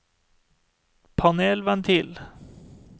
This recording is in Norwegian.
panelventil